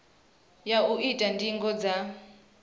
ya u ita ndingo dza